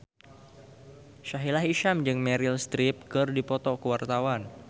Sahila Hisyam jeung Meryl Streep keur dipoto ku wartawan